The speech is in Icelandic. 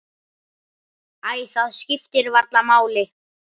Æ, það skiptir varla máli.